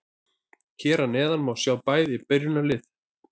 Hér að neðan má sjá bæði byrjunarlið.